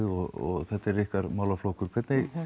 og þetta er ykkar málaflokkur hvernig